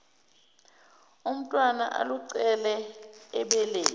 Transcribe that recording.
umntwana aluncele ebeleni